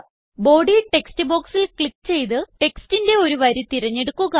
body text ബോക്സിൽ click ചെയ്ത് ടെക്സ്റ്റിന്റെ ഒരു വരി തിരഞ്ഞെടുക്കുക